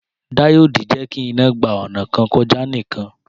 Díòdì jẹ́kí iná gba ọnà kan kọjá nìkan